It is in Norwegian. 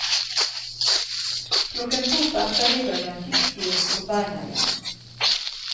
Klokken to på ettermiddagen fikk de oss på beina igjen.